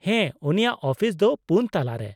-ᱦᱮᱸ, ᱩᱱᱤᱭᱟᱜ ᱟᱹᱯᱤᱥ ᱫᱚ ᱯᱩᱱ ᱛᱟᱞᱟᱨᱮ ᱾